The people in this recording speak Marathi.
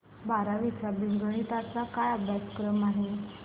बारावी चा बीजगणिता चा अभ्यासक्रम काय आहे